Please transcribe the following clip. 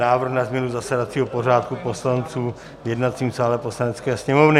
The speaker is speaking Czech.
Návrh na změny zasedacího pořádku poslanců v jednacím sále Poslanecké sněmovny